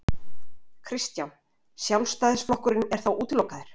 Kristján: Sjálfstæðisflokkurinn er þá útilokaður?